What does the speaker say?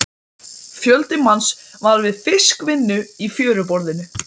Vængirnir eru klipptir í sundur og vængendanum hent.